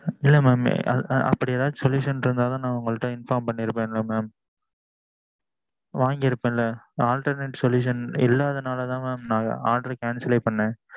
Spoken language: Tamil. இல்ல mam அப்படி ஏதும் solution இருந்தா தான் நான் உங்கட inform பண்ணிருப்பான்ல mam வாங்கியிருப்பான்ல alternate solution இல்லாதனனாலதான் நான் order cancel லே பண்ணுனேன்